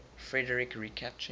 frederik recaptured